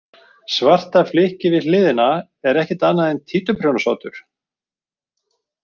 Svarta flykkið við hliðina er ekkert annað en títuprjónsoddur.